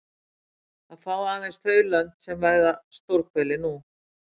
Það fá aðeins þau lönd sem veiða stórhveli nú.